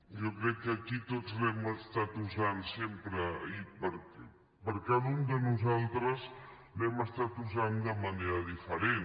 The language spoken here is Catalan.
jo crec que aquí tots l’hem estat usant sempre i cada un de nosaltres l’hem estat usant de manera diferent